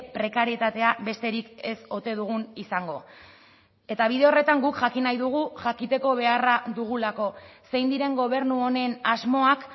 prekarietatea besterik ez ote dugun izango eta bide horretan guk jakin nahi dugu jakiteko beharra dugulako zein diren gobernu honen asmoak